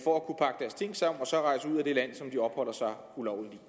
det land som de opholder sig ulovligt